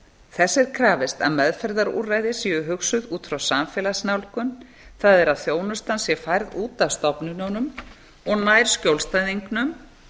þess er krafist að meðferðarúrræði séu hugsuð út frá samfélagsnálgun það er að þjónustan sé færð út af stofnununum og nær skjólstæðingnum